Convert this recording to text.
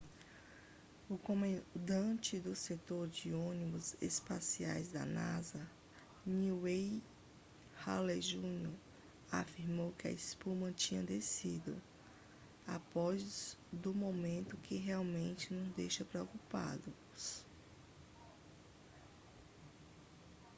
o comandante do setor de ônibus espaciais da nasa n wayne hale jr afirmou que a espuma tinha descido após do momemto que realmente nos deixa preocupados